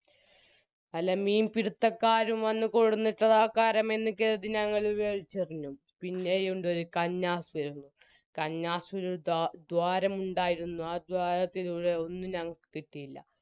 വല്ല മീൻപിടുത്തക്കാരും വന്ന് കൊടോന്നിട്ടത രക്കാരം എന്ന് കരുതി ഞങ്ങൾ വെലിച്ചെറിഞ്ഞു പിന്നെയുണ്ടൊരു കന്നാസ് കന്നാസിന് ദ്വ ദ്വാരമുണ്ടായിരുന്നു ആ ദ്വാരത്തിലൂടെ ഒന്നും ഞങ്ങക്ക് കിട്ടിയില്ല